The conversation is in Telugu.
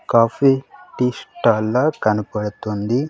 కాఫీ టీ స్టాల్ లా కనబడుతుంది.